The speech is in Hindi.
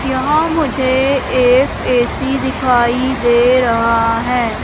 यहां मुझे एक ए_सी दिखाई दे रहा है।